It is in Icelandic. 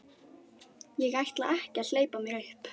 Ég ætla ekki að hleypa mér upp.